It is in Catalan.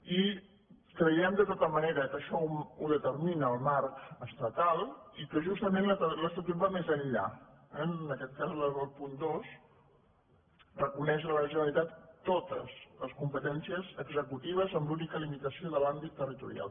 i creiem de tota manera que això ho determina el marc estatal i que justament l’estatut va més enllà eh en aquest cas el punt dos reconeix a la generalitat totescompetències executives amb l’única limitació de l’àm·bit territorial